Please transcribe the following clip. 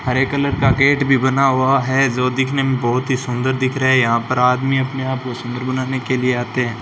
हरे colour का gate भी बना हुआ है जो दिखने में बहुत ही सुंदर दिख रहा है यहां पर आदमी अपने आप को सुंदर बनाने के लिए आते हैं।